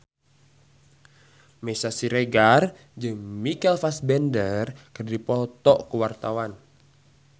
Meisya Siregar jeung Michael Fassbender keur dipoto ku wartawan